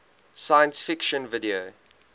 science fiction video